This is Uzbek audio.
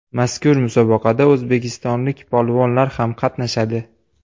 Mazkur musobaqada o‘zbekistonlik polvonlar ham qatnashadi.